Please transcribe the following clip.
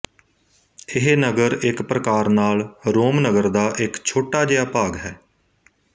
ਇਹ ਨਗਰ ਇੱਕ ਪ੍ਰਕਾਰ ਨਾਲ ਰੋਮ ਨਗਰ ਦਾ ਇੱਕ ਛੋਟਾ ਜਿਹਾ ਭਾਗ ਹੈ